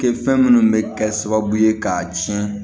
Kɛ fɛn minnu bɛ kɛ sababu ye k'a tiɲɛ